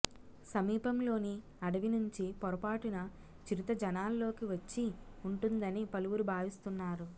సమీపంలోని అడవి నుంచి పొరపాటున చిరుత జనాల్లోకి వచ్చి ఉంటుందని పలువురు భావిస్తున్నారు